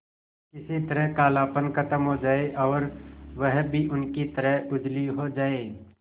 किसी तरह कालापन खत्म हो जाए और वह भी उनकी तरह उजली हो जाय